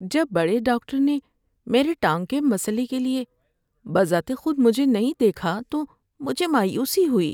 جب بڑے ڈاکٹر نے میری ٹانگ کے مسئلے کے لیے بذات خود مجھے نہیں دیکھا تو مجھے مایوسی ہوئی۔